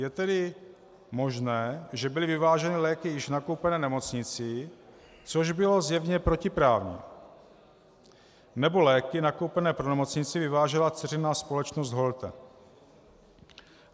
Je tedy možné, že byly vyváženy léky již nakoupené nemocnicí, což bylo zjevně protiprávní, nebo léky nakoupené pro nemocnici vyvážela dceřiná společnost Holte.